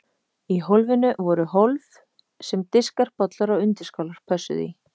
Í hjólinu voru hólf sem diskar, bollar og undirskálar pössuðu í.